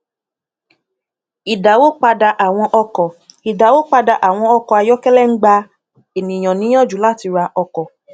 idawopada àwọn ọkọ idawopada àwọn ọkọ ayọkẹlẹ ń gba ènìyàn níyànjú láti ra ọkọ